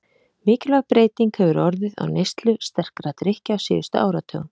Mikilvæg breyting hefur orðið á neyslu sterkra drykkja á síðustu áratugum.